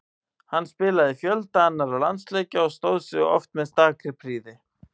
Hann spilaði fjölda annarra landsleikja og stóð sig oft með stakri prýði.